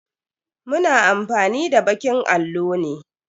Mu na amfani da bakin allo ne.